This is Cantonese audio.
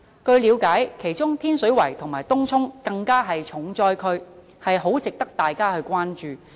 據了解，其中天水圍及東涌更是重災區，很值得大家關注。